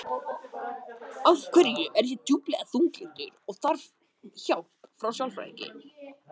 Þorir ekki að tala um það.